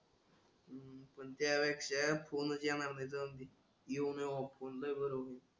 पण त्या पेक्षा फोनस येणार नाही जाऊदे येऊन ओप मंदल भरून.